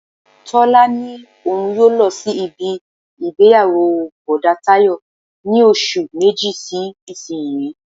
Tọ́lání ní òun yóò lọ sí ibi ìgbéyàwó Bọ̀dá Tayọ ní oṣù méjì sí isiyi.